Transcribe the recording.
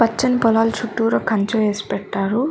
పచ్చని పొలాల చుట్టూర కంచె వేసి పెట్టారు.